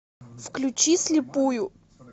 включи слепую